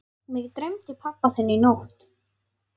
Mig dreymdi pabba þinn í nótt.